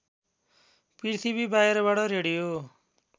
पृथ्वी बाहिरबाट रेडियो